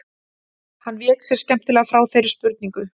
Hann vék sér skemmtilega frá þeirri spurningu.